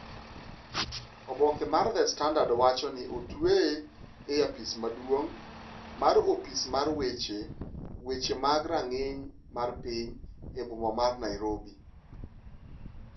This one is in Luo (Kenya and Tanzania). Oboke mar The Standard owacho ni, otweye e apis maduong' mar opis mar weche weche mag rang'iny mar piny e boma mar Nairobi.